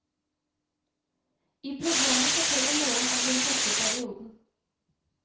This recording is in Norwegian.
I programmet forteller moren om den tøffe perioden.